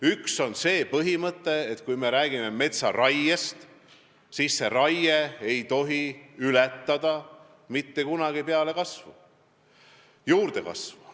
Üks on see, et kui me räägime metsaraiest, siis raie ei tohi mitte kunagi ületada juurdekasvu.